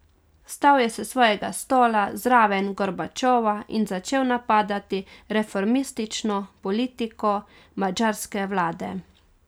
Vstal je s svojega stola zraven Gorbačova in začel napadati reformistično politiko madžarske vlade.